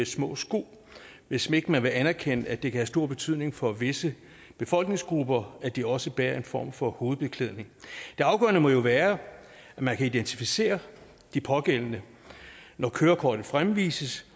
små sko hvis ikke man vil anerkende at det kan have stor betydning for visse befolkningsgrupper at de også bærer en form for hovedbeklædning det afgørende må jo være at man kan identificere de pågældende når kørekortet fremvises